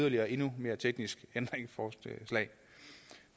et endnu mere teknisk ændringsforslag